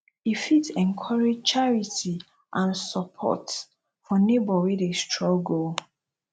e fit encourage charity and sopport for neibor wey dey struggle